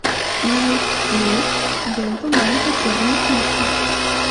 найди ленту маленькая черная книжка